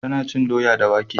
Ta na cin doya da wake